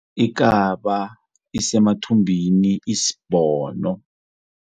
Ikaba isemathumbini isbhono.